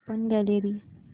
open gallery